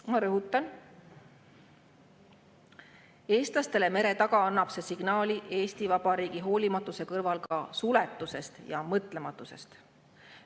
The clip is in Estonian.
Ma rõhutan: eestlastele mere taga annab see Eesti Vabariigi hoolimatuse kõrval signaali ka suletusest ja mõtlematusest.